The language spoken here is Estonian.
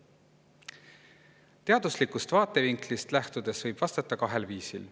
Teaduslikust vaatevinklist lähtudes võib sellele vastata kahel viisil.